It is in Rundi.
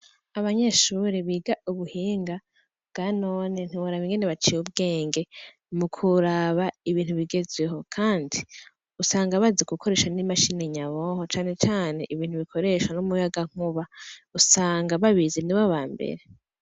Abanyeshure biga ubuhinga bwa none ntiworaba ingene baciye ubwenge mu kuraba ibintu bigezweho kandi usanga bazi gukoresha n' imashini nyabwonko cane cane ibintu bikoresha n' umuyaga nkuba usanga babizi nibo bambere.